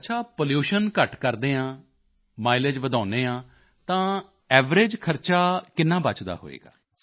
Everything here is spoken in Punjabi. ਅੱਛਾ ਪੋਲੂਸ਼ਨ ਘੱਟ ਕਰਦੇ ਹਾਂ ਮਾਈਲੇਜ ਵਧਾਉਂਦੇ ਹਾਂ ਤਾਂ ਐਵਰੇਜ ਖਰਚਾ ਕਿੰਨਾ ਬੱਚਦਾ ਹੋਵੇਗਾ